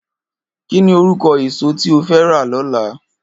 Kini órúkò ésó ti ó fè rá lòlá?